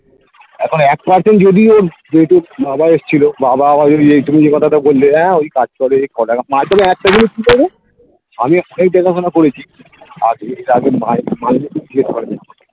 এখন এক percent যদিও বাবা এসছিল বাবা আবার ওই নিয়ে কথাটা বললেন হ্যাঁ ওই কাজ করে কটাকা পায় তবে একটা জিনিস কি করে আমি এক এই দেখাশোনা করেছি আর এর আগে